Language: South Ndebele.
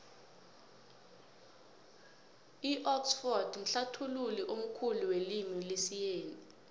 idxford mhlathului omkhulu welimu lesiyeni